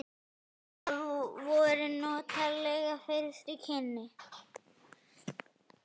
Það voru notaleg fyrstu kynni.